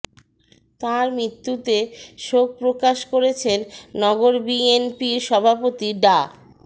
তাঁর মৃত্যুতে শোক প্রকাশ করেছেন নগর বিএনপির সভাপতি ডা